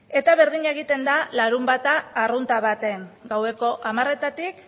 eta berdina egiten da larunbata arrunta baten gaueko hamaretatik